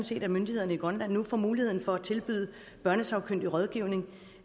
set at myndighederne i grønland nu får mulighed for at tilbyde børnesagkyndig rådgivning